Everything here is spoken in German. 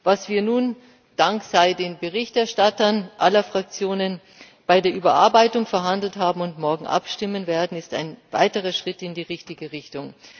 Das, worüber wir nun Dank sei den Berichterstattern aller Fraktionen bei der Überarbeitung verhandelt haben und worüber wir morgen abstimmen werden, ist ein weiterer Schritt in die richtige Richtung.